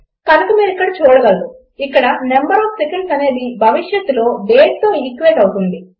కనుక మీరిక్కడ చూడగలరు ఇక్కడ నంబర్ ఒఎఫ్ సెకండ్స్ అనేది భవిష్యత్తులో dateతో ఈక్వేట్ అవుతుంది